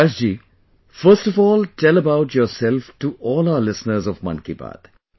Prakash ji, first of all tell about yourself to all of our listeners of 'Mann Ki Baat'